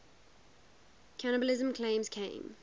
cannibalism claims came